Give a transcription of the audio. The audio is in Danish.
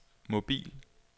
mobil